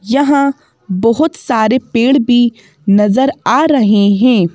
यहाँ बहुत सारे पेड़ भी नजर आ रहे हैं।